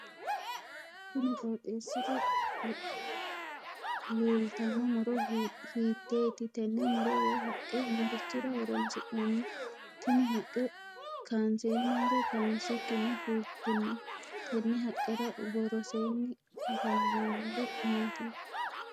Kunni qooxeesira leltano muro hiiteeti? Tenne muro woyi haqe marichira horoonsi'nanni? Tinni haqe kaanseenanso kaansikinni fultino? Tenne haqera woroseenni afamanori maati?